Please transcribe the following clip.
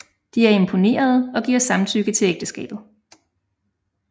De er imponerede og giver samtykke til ægteskabet